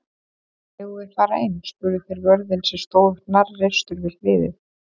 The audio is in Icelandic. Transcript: Megum við fara inn? spurðu þeir vörðinn sem stóð hnarreistur við hliðið.